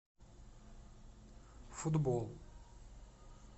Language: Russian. футбол